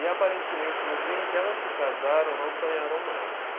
E aparentemente no dia em que elas se casaram, não sonharam mais.